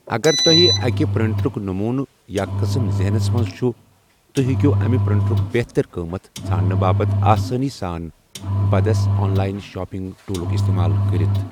اگر توہہِ اكہِ پر٘یٹرُك نموٗنہٕ یا قٕسم ذہنس منز چُھ ،توہہِ ہیٚکِو امہِ پرنٹرُك بہتر قۭمتھ ژھانڈنہٕ باپت آسٲنی سان بدس آن لاین شاپِنگ ٹوٗلُك استعمال كرِتھ ۔